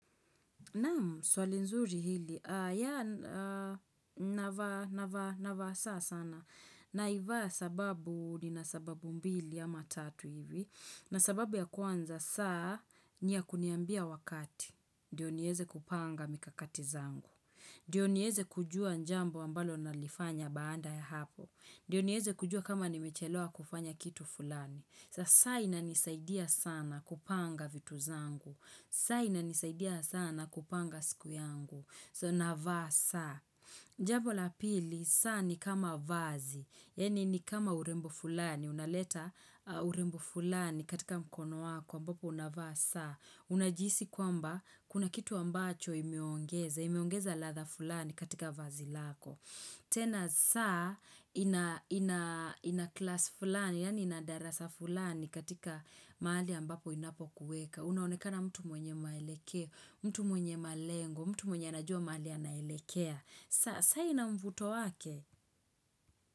Naam, swali nzuri hili, yaa, navaa, navaa, navaa saa sana. Naivaa sababu, nina sababu mbili ama tatu hivi. Na sababu ya kwanza, saa, ni ya kuniambia wakati. Ndio nieze kupanga mikakati zangu. Ndio nieze kujua jambo ambalo nalifanya baada ya hapo. Ndio niweze kujua kama nimechelewa kufanya kitu fulani. Sa, saa inanisaidia sana kupanga vitu zangu. Saa inanisaidia sana kupanga siku yangu. So, navaa saa. Jambo la pili, saa ni kama vazi. Yaani ni kama urembo fulani. Unaleta urembo fulani katika mkono wako, ambapo unavaa saa. Unajihisi kwamba, kuna kitu ambacho imeongeza. Imeongeza ladha fulani katika vazi lako. Tena saa, ina class fulani, yani ina darasa fulani katika mahali ambapo inapokueka. Unaonekana mtu mwenye maelekeo, mtu mwenye malengo, mtu mwenye anajua mali anaelekea. Sa saa ina mvuto wake.